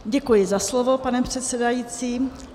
Děkuji za slovo, pane předsedající.